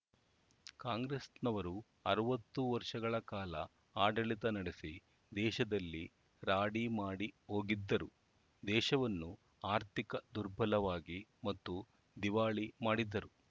ಕಾಂಗ್ರೆಸ್‌ನವರು ಅರವತ್ತು ವರ್ಷಗಳ ಕಾಲ ಆಡಳಿತ ನಡೆಸಿ ದೇಶದಲ್ಲಿ ರಾಡಿ ಮಾಡಿ ಹೋಗಿದ್ದರು ದೇಶವನ್ನು ಆರ್ಥಿಕ ದುರ್ಬಲವಾಗಿ ಮತ್ತು ದಿವಾಳಿ ಮಾಡಿದ್ದರು